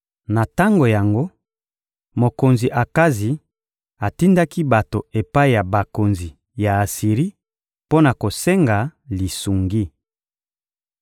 Na tango yango, mokonzi Akazi atindaki bato epai ya bakonzi ya Asiri mpo na kosenga lisungi.